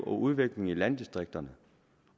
og udvikling i landdistrikterne